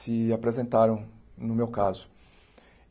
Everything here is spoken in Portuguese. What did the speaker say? se apresentaram no meu caso.